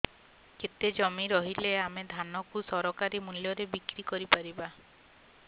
କେତେ ଜମି ରହିଲେ ଆମେ ଧାନ କୁ ସରକାରୀ ମୂଲ୍ଯରେ ବିକ୍ରି କରିପାରିବା